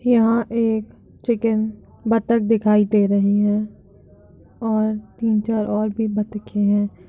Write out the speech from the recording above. यहाँ एक चिकन बतख दिखाई दे रही है। और तीन-चार और भी बतके हैं।